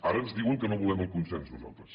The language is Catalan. ara ens diuen que no volem el consens nosaltres